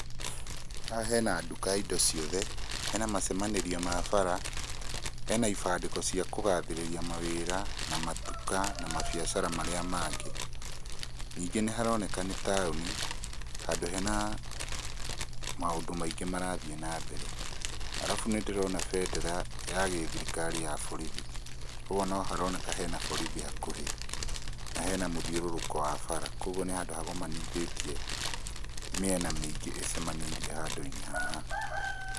Haha hena nduka ya indo ciothe, hena macemanĩrio ma bara, hena ibandĩko cia kũgathĩrĩria mawĩra, na matuka na mabiacara marĩa mangĩ. Ningĩ nĩ haroneka nĩ taũnĩ handũ hena maũndũ maingĩ marathiĩ na mbere. Arabu nĩ ndĩrona bendera ya gĩthirikari ya borithi, kwogwo no haroneka hena borithi hakuhĩ, na hena mũthĩũrũrũko wa bara, kwogwo nĩ handũ hagomanithĩtie mĩena mĩingĩ ĩcemanĩirie handũ-inĩ haha.